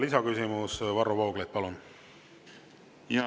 Lisaküsimus, Varro Vooglaid, palun!